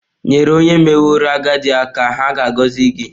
nyere onye meworo agadi aka, ha ga-agọzi gị.